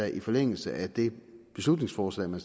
i forlængelse af det beslutningsforslag man